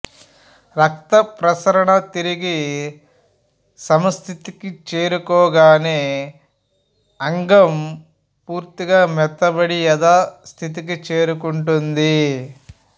రక్తప్రసరణ తిరిగి సమస్థితికి చేరుకొనగనే అంగం పూర్తిగా మెత్తబడి యథాస్థితికి చేరుకొంటుంది